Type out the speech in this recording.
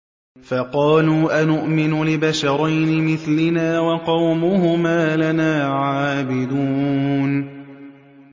فَقَالُوا أَنُؤْمِنُ لِبَشَرَيْنِ مِثْلِنَا وَقَوْمُهُمَا لَنَا عَابِدُونَ